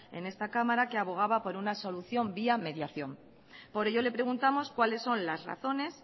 en esta cámara que abogaba por una solución vía mediación por ello le preguntamos cuáles son las razones